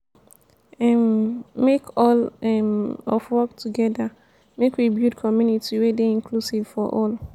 um make all um of work togeda make we build community wey dey inclusive for all.